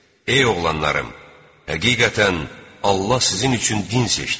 Ey oğlanlarım, həqiqətən Allah sizin üçün din seçdi.